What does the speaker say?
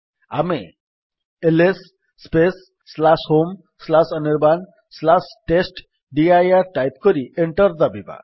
ଆମେ L S homeanirbantestdir type କରି enter ଦାବିବା